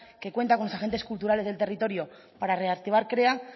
que cuanta con los agentes culturales del territorio para reactivar krea